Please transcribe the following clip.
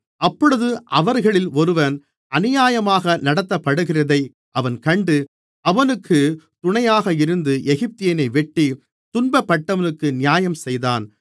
அப்பொழுது அவர்களில் ஒருவன் அநியாயமாக நடத்தப்படுகிறதை அவன் கண்டு அவனுக்குத் துணையாக இருந்து எகிப்தியனை வெட்டி துன்பப்பட்டவனுக்கு நியாயம் செய்தான்